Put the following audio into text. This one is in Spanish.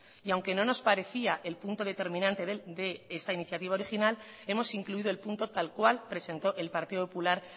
y aunque no nos parecía el punto determinante de esta iniciativa original hemos incluido el punto tal cual presentó el partido popular